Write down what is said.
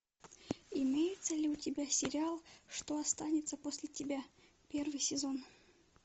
имеется ли у тебя сериал что останется после тебя первый сезон